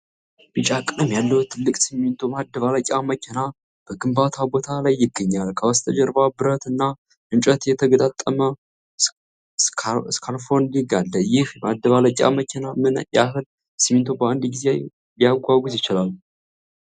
ቢጫ ቀለም ያለው ትልቅ ሲሚንቶ ማደባለቂያ መኪና በግንባታ ቦታ ላይ ይገኛል። ከበስተጀርባ ብረት እና እንጨት የተገጣጠሙ ስካፎልዲንግ አለ። ይህ ማደባለቂያ መኪና ምን ያህል ሲሚንቶ በአንድ ጊዜ ሊያጓጉዝ ይችላል?